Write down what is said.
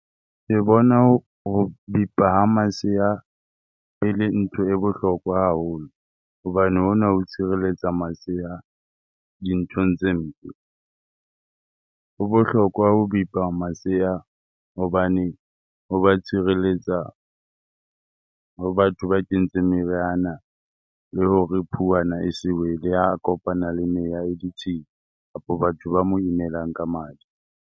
Ke bona ho ho bipa ha masea ele ntho e bohlokwa haholo hobane hona ho tshireletsa masea dinthong tse mpe. Ho bohlokwa ho bipa masea hobane ho ba tshireletsa ho batho ba kentseng meriana le hore phuwana e se wele ha a kopana le meya e ditshila kapa batho ba mo imelang ka madi.